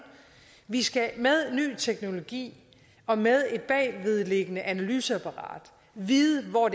vi skal med ny teknologi og med et bagvedliggende analyseapparat vide hvor